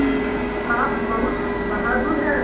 आप बहुत बहादुर हैं